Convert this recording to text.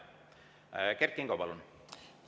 Kert Kingo, palun!